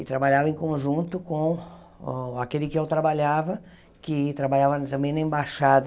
E trabalhava em conjunto com o aquele que eu trabalhava, que trabalhava também na Embaixada,